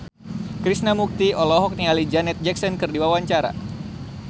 Krishna Mukti olohok ningali Janet Jackson keur diwawancara